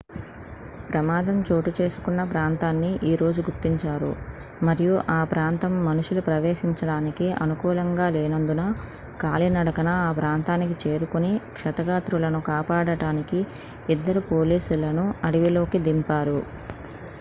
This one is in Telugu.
ప్రమాదం చోటు చేసుకున్న ప్రాంతాన్ని ఈ రోజు గుర్తించారు మరియు ఆ ప్రాంతం మనుషులు ప్రవేశించడానికి అనుకూలంగా లేనందున కాలినడక ఆ ప్రాంతానికి చేరుకొని క్షతగాత్రులను కాపాడటానికి ఇద్దరు పోలీసులను అడవిలోకి దింపారు